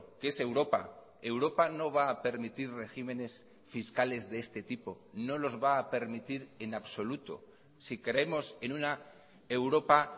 que es europa europa no va a permitir regímenes fiscales de este tipo no los va a permitir en absoluto si creemos en una europa